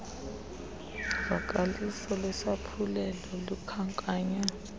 vakaliso lwesaphulelo lukhankanywe